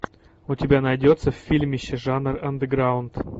у тебя найдется фильмище жанр андеграунд